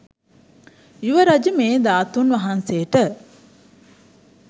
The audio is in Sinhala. යුවරජු මේ ධාතුන් වහන්සේට